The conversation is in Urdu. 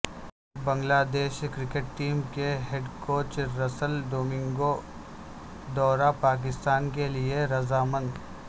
بنگلادیش کرکٹ ٹیم کے ہیڈکوچ رسل ڈومنگو دورہ پاکستان کے لیے رضا مند